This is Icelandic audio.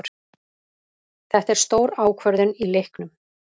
Þetta er stór ákvörðun í leiknum.